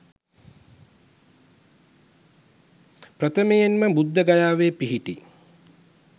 ප්‍රථමයෙන් ම බුද්ධගයාවේ පිහිටි